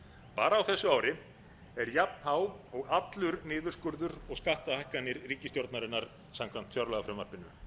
bara á messu ári er jafn há og allur niðurskurður og skattahækkanir ríkisstjórnarinnar samkvæmt fjárlagafrumvarpinu